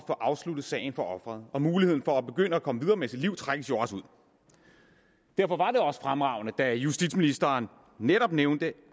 få afsluttet sagen for offeret og muligheden for at begynde at komme videre med sit liv trækkes jo også ud derfor var det også fremragende at justitsministeren netop nævnte